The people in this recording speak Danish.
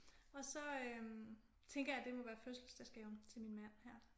Og så øh tænker jeg det må være fødselsdagsgaven til min mand her